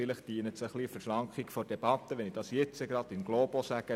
Vielleicht dient es der Verschlankung der Debatte, wenn ich das jetzt in globo sage: